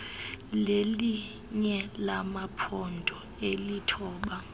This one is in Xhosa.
lelinye lamaphondo alithoba